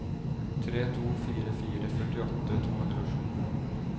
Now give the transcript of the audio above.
tre to fire fire førtiåtte to hundre og sju